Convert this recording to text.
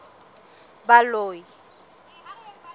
baloi